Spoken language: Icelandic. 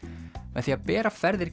með því að bera ferðir